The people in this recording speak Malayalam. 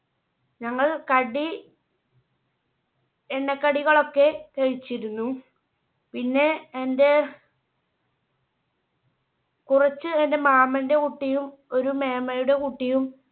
ഞങ്ങൾ കടി എണ്ണ കടികൾ ഒക്കെ കഴിച്ചിരുന്നു പിന്നെ എന്റെ കുറച്ച് എന്റെ മാമന്റെ കുട്ടിയും ഒരു മേമ്മയുടെ കുട്ടിയും